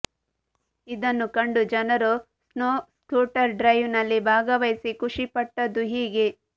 ಇದನ್ನು ಕಂಡು ಜನರು ಸ್ನೋ ಸ್ಕೂಟರ್ ರೈಡ್ ನಲ್ಲಿ ಭಾಗವಹಿಸಿ ಖುಷಿ ಪಟ್ಟದು ಹೀಗೆ